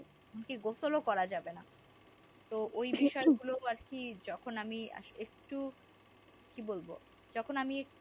এমনকি গোসল করা যাবে না ওই সেই যেগুলো আর কি যখন আমি একটু কি বলবো যখন আমি